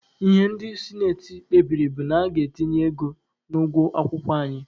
Ihe ndị sinati kpebiri bụ na a ga-etinye ego n'ụgwọ akwụkwọ anyị.